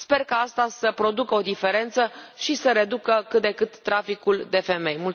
Sper ca asta să producă o diferență și să reducă cât de cât traficul de femei.